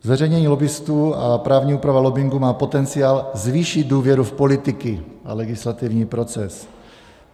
Zveřejnění lobbistů a právní úprava lobbingu má potenciál zvýšit důvěru v politiky a legislativní proces.